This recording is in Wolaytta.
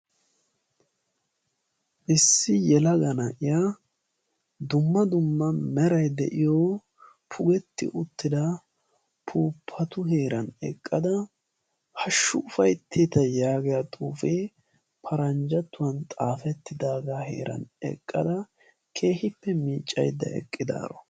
Issi yelaga na'iya dumma dumma meray de'iyo puupi uttida puuppatu heeran eqqada hashshu ufaytteta yaagiya xuufee paranjattuwan xaafettidaagaa heeran eqqada keehippe miiccayidda eqqidaaro